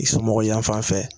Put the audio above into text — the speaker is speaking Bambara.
I sɔmɔgɔ yanfan fɛ.